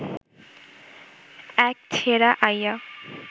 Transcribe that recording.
এক ছেড়া আইয়া